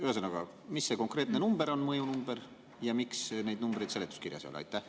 Ühesõnaga, mis see mõju konkreetne number on ja miks neid numbreid seletuskirjas ei ole?